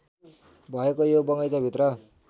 भएको यो बगैंचाभित्र